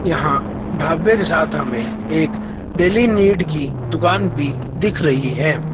यहां ढाबे के साथ हमें एक डेली नीड की दुकान भी दिख रही है।